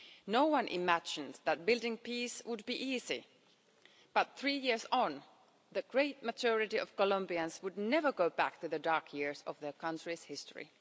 No one imagined that building peace would be easy but, three years on, the great majority of Colombians would never go back to the dark years of their country's history.